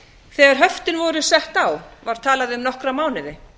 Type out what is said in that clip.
þegar höftin voru sett á var talað um nokkra mánuði